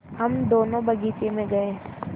हम दोनो बगीचे मे गये